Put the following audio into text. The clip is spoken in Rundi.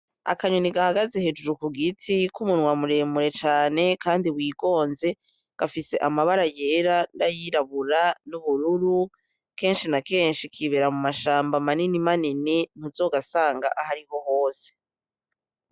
Akanyoni gahagaze hejuru kugiti k'umunwa muremure cane kandi wigonze, gafise amabara yera nayirabura n'ubururu. Kenshi na kenshi kibera mu mashamba manini manini muzogasanga hariho hose.